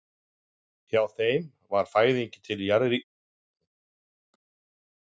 Hjá þeim var fæðing til jarðlífsins lítils virði.